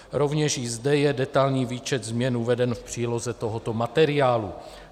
Rovněž i zde je detailní výčet změn uveden v příloze tohoto materiálu.